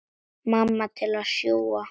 Mamma til að sjúga.